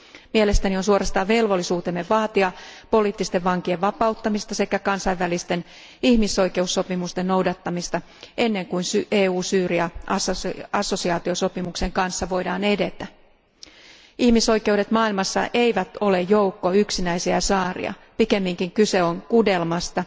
Mielestäni on suorastaan velvollisuutemme vaatia poliittisten vankien vapauttamista sekä kansainvälisten ihmisoikeussopimusten noudattamista, ennen kuin EU Syyria assosiaatiosopimuksen kanssa voidaan edetä. Ihmisoikeudet maailmassa eivät ole joukko yksinäisiä saaria, pikemminkin kyse on kudelmasta,